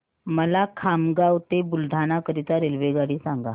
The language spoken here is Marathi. मला खामगाव ते बुलढाणा करीता रेल्वेगाडी सांगा